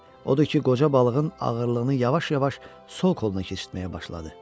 Odur ki, qoca balığın ağırlığını yavaş-yavaş sol qoluna keçirtməyə başladı.